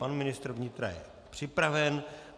Pan ministr vnitra je připraven.